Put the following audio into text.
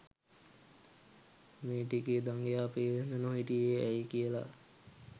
මේ ටිකේ දඟයා පේන්න නොහිටියේ ඇයී කියලා